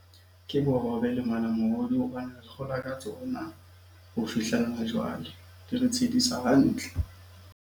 Ke bohobe le malamohodu hobane re kgora ka tsona ho fihlella ha jwale. Di re tshedisa hantle.